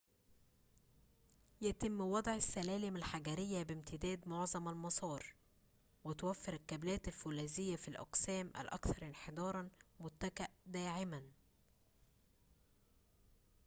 يتم وضع السّلالم الحجريّة بامتداد معظم المسار وتوفّر الكابلات الفولاذية في الأقسام الأكثر انحداراً متكأً داعماً